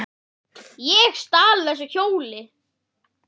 Ég stal ekki þessu hjóli!